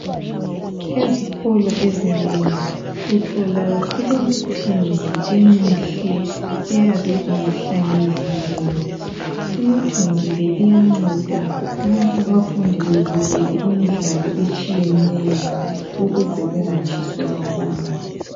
Ezikolo ezinengi uthola kulemithunzi emihle eyabe ihlanyeliwe, imithunzi le iyanceda nxa abafundi bebukele imidlalo etshiyeneyo ukuze bengatshiswa lilanga.